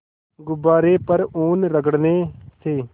गुब्बारे पर ऊन रगड़ने से